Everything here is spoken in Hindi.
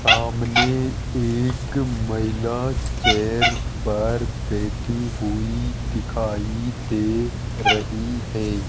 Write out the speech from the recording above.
सामने एक महिला चेयर पर बैठी हुई दिखाई दे रही है।